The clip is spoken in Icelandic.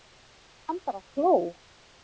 Hann bara hló.